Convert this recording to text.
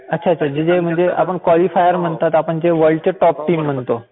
अच्छा म्हणजे आपण जे क्वालिफायर म्हणतात म्हणजे आपण जे वर्ल्डचे टॉप टीम म्हणतो.